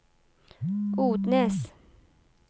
Odnes